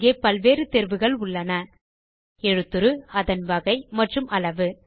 அங்கே பல்வேறு தேர்வுகள் உள்ளன எழுத்துரு அதன் வகை மற்றும் அளவு